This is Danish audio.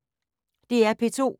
DR P2